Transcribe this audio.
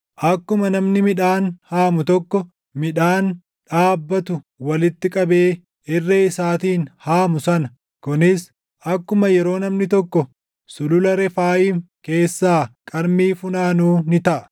Akkuma namni midhaan haamu tokko, midhaan dhaabbatu walitti qabee irree isaatiin haamu sana kunis akkuma yeroo namni tokko Sulula Refaayim keessaa qarmii funaanuu ni taʼa.